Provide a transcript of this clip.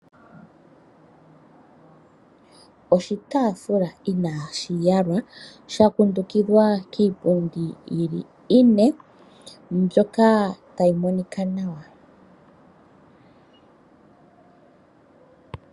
Oshitaafula inashi yalwa sha kundukidhwa kiipundi yili ine mbyoka tayi monika nawa.